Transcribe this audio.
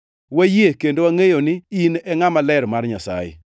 Wayie kendo wangʼeyo ni in e Ngʼama Ler mar Nyasaye.”